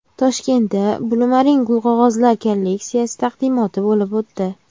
Toshkentda Blumarine gulqog‘ozlar kolleksiyasi taqdimoti bo‘lib o‘tdi.